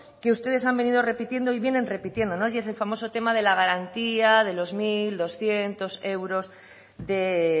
que ustedes han venido repitiendo y vienen repitiendo y es el famoso tema de la garantía de los mil doscientos euros de